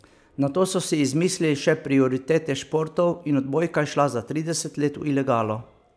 Nato so si izmislili še prioritete športov in odbojka je šla za trideset let v ilegalo.